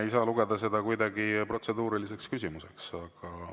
Ei saa lugeda seda kuidagi protseduuriliseks küsimuseks.